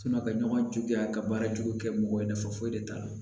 ka ɲɔgɔn juguya ka baara jugu kɛ mɔgɔ ye nafa foyi de t'a la